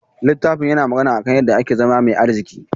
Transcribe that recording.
Littafin yana magana kan yadda ake zama mai arziki.